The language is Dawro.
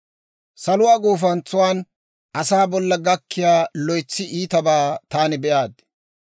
Saluwaa gufantsan asaa bolla gakkiyaa loytsi iitabaa taani be'aad.